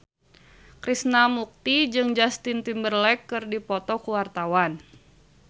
Krishna Mukti jeung Justin Timberlake keur dipoto ku wartawan